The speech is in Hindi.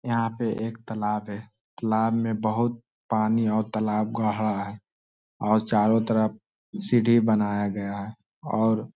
यहाँ पे एक तालाब है तालाब में बहुत पानी है और तालाब गाहरा है और चारो तरफ सीढी बनाया गया है और--